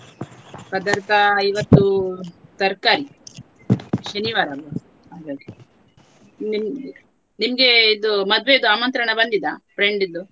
ಪದಾರ್ಥ ಇವತ್ತು ತರಕಾರಿ ಶನಿವಾರ ಅಲ್ಲ ನಿಮ್~ ನಿಮಗೆ ಇದು ಮದುವೆದು ಆಮಂತ್ರಣ ಬಂದಿದ friend ದು.